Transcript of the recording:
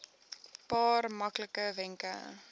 paar maklike wenke